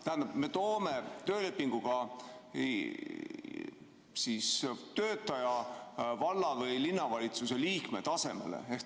Tähendab, me toome töölepinguga töötaja valla‑ või linnavalitsuse liikme tasemele.